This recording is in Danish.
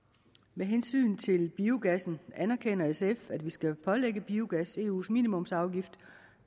med hensyn til biogassen anerkender sf at vi skal pålægge biogas eus minimumsafgift